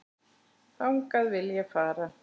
Þangað vil ég fara.